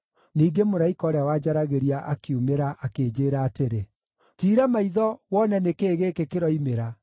Ningĩ mũraika ũrĩa wanjaragĩria akiumĩra akĩnjĩĩra atĩrĩ, “Tiira maitho wone nĩ kĩĩ gĩkĩ kĩroimĩra.”